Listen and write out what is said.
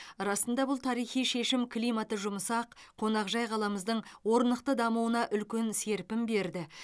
расында бұл тарихи шешім климаты жұмсақ қонақжай қаламыздың орнықты дамуына үлкен серпін берді